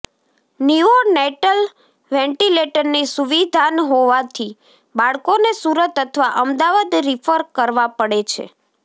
નીઓ natal વેન્ટીલેટરની સુવિધાન હોવાથી બાળકોને સુરત અથવા અમદાવાદ રીફર કરવા પડે છે